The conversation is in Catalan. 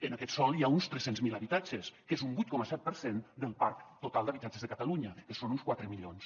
en aquest sòl hi ha uns tres cents miler habitatges que és un vuit coma set per cent del parc total d’habitatges de catalunya que són uns quatre milions